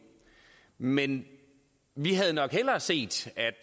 men vi havde nok hellere set at